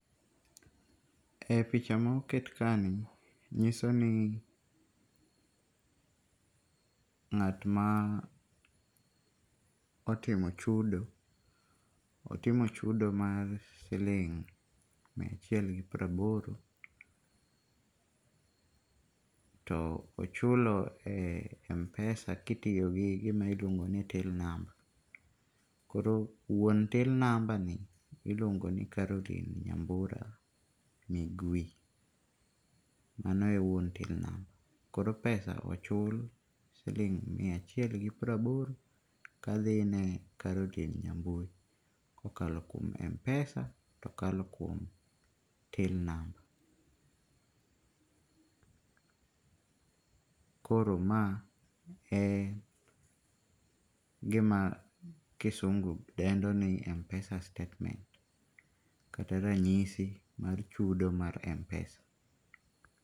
E picha ma oket kaeni, nyiso ni ng'at ma otimo chudo, otimo chudo mar siling mia achiel gi piero aboro, to ochulo e Mpesa ka otiyo kod gima iluongo ni till number. Koro wuon till number iluongo ni Caroline Nyambura Migwi, mano e wuon till number koro pesa ochul, koro pesa ochul siling' mia achiel gi piero aboro kadhi ni Caroline Nyambura kokalo kuom Mpesa, tokalo kuom till number koro ma egima kisungu dendo ni Mpesa statement kata ranyisi mar chudo mar Mpesa.